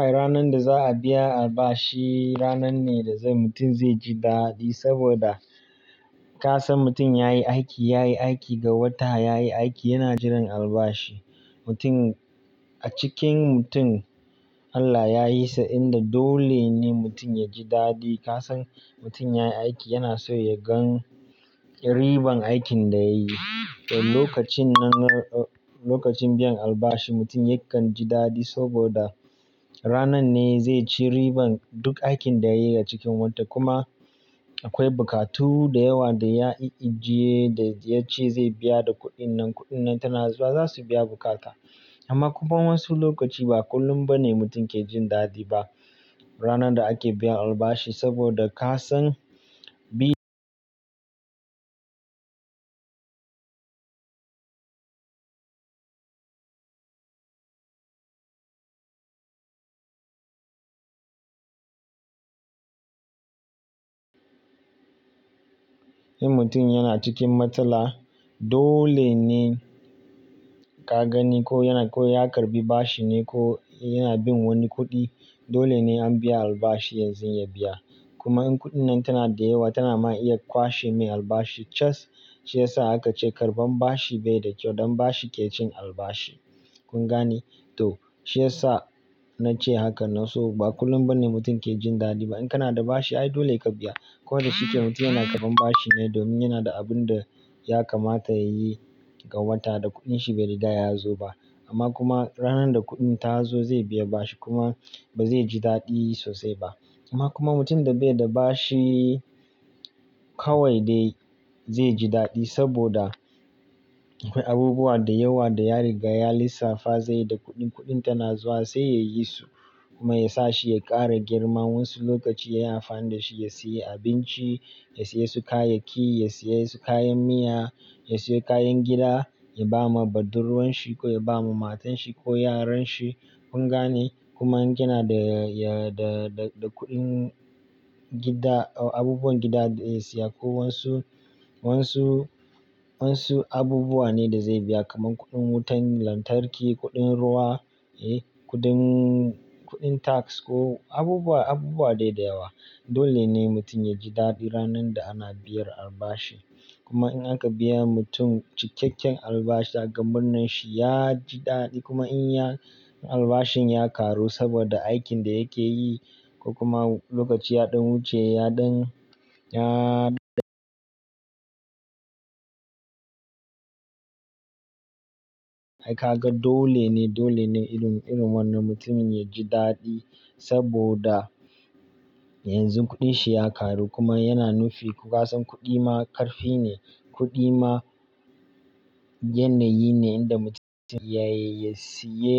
Ai ranar da za a biya albashi ranan ne da zan mutum zai ji daɗi saboda ka san mutum ya yi aiki, ya yi aiki ga wata, ya yi aiki yana jiran albashi. Mutum a cikin mutum Allah ya yi sa'in da dole ne mutum ya ji daɗi. Ka san mutum ya yi aiki yana so ya gan riban aikin da ya yi. Lokacin nan, lokacin biyan albashi mutum yakan ji daɗi saboda ranar ne zai ci riban duk aikin da ya yi a cikin wata kuma akwai bukatu da yawa da ya i ijiye da ya ce zai biya da kuɗin nan, kuɗin nan tana zuwa za su biya bukata. Amma kuma wasu lokaci ba kullum ba ne mutum ke jin daɗi ba. Ranar da ake biyan albashi saboda ka san bi-- in mutum yana cikin matsala dole ne ka gani ko yana, ko ya karɓi bashi ne ko yana bin wani kuɗi. Dole ne an biya albashi yanzun ya biya. Kuma in kuɗin nan tana da yawa tana ma iya kwashe mai albashi. Cas, shi ya sa haka ce karɓan bashi bai da kyau don bashi ke cin albashi. Kun gane? To shi ya sa na ce haka na so ba kullum ba ne mutum ke jin daɗi ba. In kana da bashi ai dole ya ka biya. Ko da shi ke mutum yana karɓan bashi ne domin yana da abun da ya kamata ya yi ga wata da kuɗin shi bai riga ya zo ba. Amma kuma ranan da kuɗin ta zo zai biya bashi kuma ba zai ji daɗi sosai ba. Amma kuma mutum da bai da bashi kawai dai zai ji daɗi saboda akwai abubuwa da yawa da ya riga ya lissafa zai yi da kuɗin, kuɗin tana zuwa sai ya yi su kuma ya sa shi ya ƙara girma. Wansu lokaci ya yi amfani da shi ya siyi abinci, ya siye su kayayyaki, ya siye su kayan miya, ya siyo kayan gida, ya ba ma budurwan shi ko ya ba ma matan shi ko yaran shi. Kun gane? Kuma in kana da, da, da kuɗin gida, abubuwan gida da ya siya ko wasu, wasu, wasu abubuwa ne da zai biya kamar kuɗin wutan lantarki, kuɗin ruwa, eh, kuɗin, kuɗin tax ko abubuwa, abubuwa dai da yawa. Dole ne mutum ya ji daɗi ranar da ana biyar albashi. Kuma in aka biya mutum cikakken albashi daga murnan shi ya ji daɗi kuma in ya, albashin ya ƙaru saboda aikin da yake yi ko kuma lokaci ya ɗan wuce ya ɗan, ya ɗan ai ka ga dole ne, dole ne irin, irin wannan mutumin ya ji daɗi saboda yanzu kuɗin shi ya ƙaru kuma yana nufi ku ka san kuɗi ma ƙarfi ne, kuɗi ma yanayi ne inda mutum yayi, ya siye,